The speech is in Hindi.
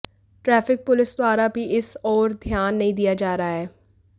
ट्राफिक पुलिस द्वारा भी इस और ध्यान नहीं दिया जा रहा है